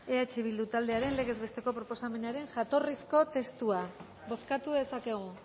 eh bildu taldearen legez besteko proposamenaren jatorrizko testua bozkatu dezakegu